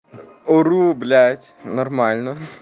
ору блять нормально